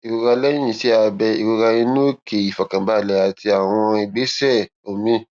ìrora lẹyìn iṣẹ abẹ ìrora inú òkè ìfọkànbalẹ àti àwọn ìgbésẹ omi